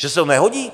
Že se to nehodí?